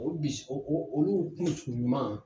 O bi olu tun ɲuman